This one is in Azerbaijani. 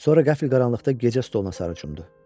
Sonra qəfl qaranlıqda gecə stoluna sarı çümüdü.